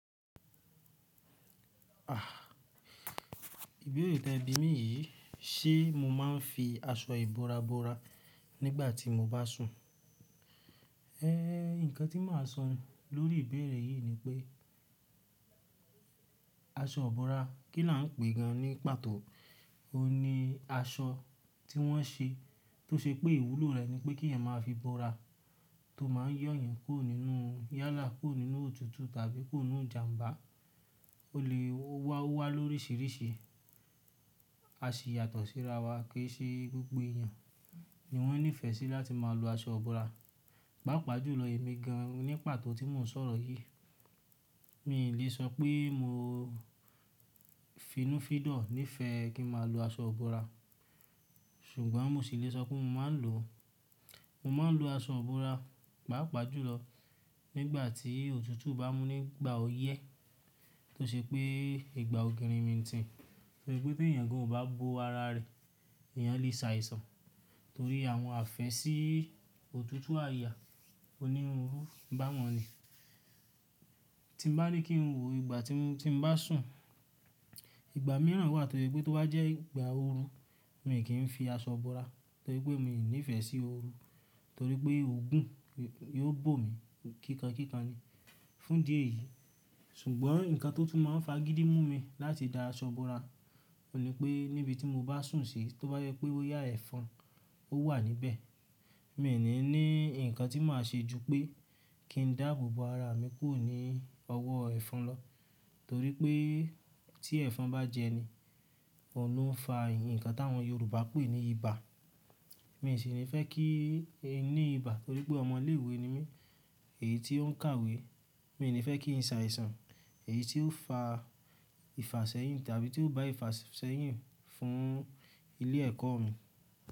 À, ìbéèrè tẹ bi mí yìí, ṣe mo máa ń fi aṣọ ìbora bora nígbà tí mo bá sùn? Ehn, ǹkan tí màá sọ lórí ìbéèrè yìí ni pé, aṣọ bora kí là ń pè gan ní pàtó òhun ni aṣọ tí wọ́n ṣe tó ṣe pé ìwúlò rẹ̀ ni pé kí èèyàn máa fi bora tó má ń yọ èèyàn kúrò nínú yala, kúrò nínú òtútù tàbí kúrò nú ìjàmbá. Ó lè wá wá lórísìíríṣìí, a ṣì yàtọ̀ síra wa kíi ṣe gbogbo èèyàn ni wọ́n nífẹ̀ẹ́ sí láti máa lo aṣọ bora. Pápa jùlọ èmi gan an ní pàtó tí mò ń sọ̀rọ̀ yìí, mi ò lè sọ pé mo finúfídọ̀ nífẹ́ kí n máa lo aṣọ ibora ṣùgbọ́n, mo ṣì lè sọ pé mo máa ń lo, mo máa ń lo aṣọ ibora pàápàá jùlọ nígbà tí òtútù bá mú nígbà òyẹ́ tó ṣe pé ìgbà ògini ń tìn. Torí pé bí èèyàn gan o bo ara rẹ̀, èèyàn lè ṣàìsàn torí àwọn àfẹ́sí òtútù àyà onírúurú bá wọn ri. Tí mo bá ní kí n wò ìgbà tí mo bá sùn, ìgbà mìíràn wà torí pé tó bá jẹ́ ìgbà ooru, mi ò kí ń fi aṣọ bora torí pé mi ò nífẹ̀ẹ́ sí ooru torí pé ògùn yóò bò mí kíkan kíkan ni. Fún ìdí di èyí, ṣùgbọ́n, ǹkan tó tún máa ń fagídí mú mi láti da aṣọ bora, òun ni pé níbi tí mo bá sùn sí tó bá yẹ pé ó yá ẹ̀fọn ó wà níbẹ̀, mi ò ní ní ǹkan tí màá ṣe ju pé kí n dáàbòbo ara mi kúrò ní ọwọ́ ẹ̀fọn lọ torí pé tí ẹ̀fọn bá jẹni, òun ló ń fa ǹkan tí àwọn Yorùbá pè ní ibà. Mi ò sì ní fẹ́ kí e ní ibà torí pé ọmọ ilé ìwé ni mí èyí tí o ń kàwé. Mi ò ní fẹ́ kí n ṣàìsàn èyí ti ó fa ìfàsẹ́yìn tàbí ti ó bá ìfàsẹ́yìn fún ilé ẹ̀kọ́ mi.